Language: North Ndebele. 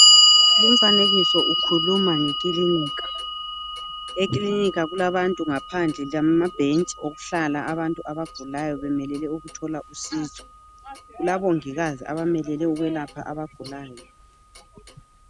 Lumfanekiso ukhuluma ngekilinika. Ekilinika kulabantu ngaphandle lama bhentshi okuhlala abagulayo belinde ukuthola usizo. Kulabomongikazi abamelele ukwelapha abagulayo.